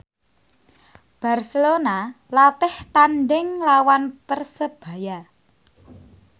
Barcelona latih tandhing nglawan Persebaya